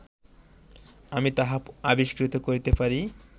আমি তাহা আবিষ্কৃত করিতে পারি